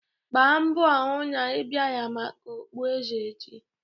Gbaa mbọ hụ na ị bịara maka okpueze echi